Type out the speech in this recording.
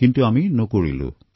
কিন্তু আমি নকৰিলোঁ